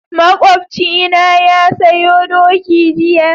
Makocina na sayo doki jiya.